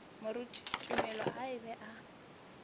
moruti tumelo a be a